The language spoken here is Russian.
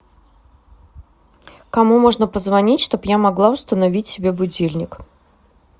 кому можно позвонить чтобы я могла установить себе будильник